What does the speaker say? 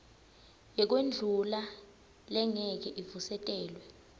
yekwendlula lengeke ivusetelwe